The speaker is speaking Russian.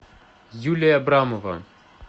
юлия абрамова